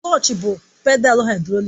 Klọch bụ pedalu haịdrọlik